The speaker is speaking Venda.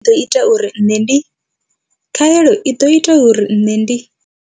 I ḓo ita uri nṋe ndi. Khaelo i ḓo ita uri nṋe ndi.